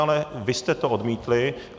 Ale vy jste to odmítli.